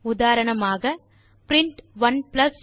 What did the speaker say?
உதாரணமாக பிரின்ட் 12